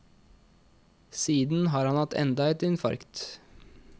Siden har han hatt enda et infarkt.